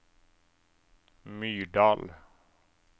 Myrdal